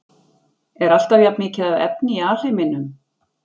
Er alltaf jafnmikið af efni í alheiminum?